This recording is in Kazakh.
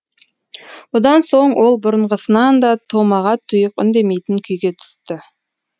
бұдан соң ол бұрынғысынан да томаға тұйық үндемейтін күйге түсті